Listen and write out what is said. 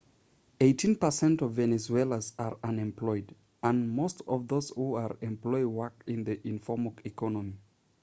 eighteen percent of venezuelans are unemployed and most of those who are employed work in the informal economy